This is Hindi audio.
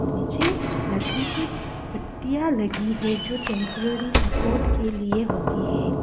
नीचे लकड़ी की पट्टिया लगी है जो टेंपरेरी सपोर्ट के लिए होती है।